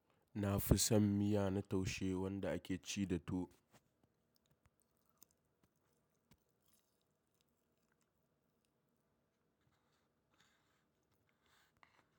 Na fi son miya na taushe wanda ake ci da tuwo.